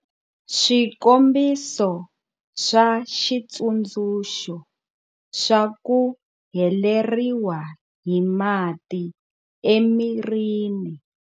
Swikombiso swa xitsundzuxo swa ku heleriwa hi mati emirini.